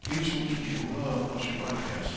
et tusind ni hundrede og syvoghalvfjerds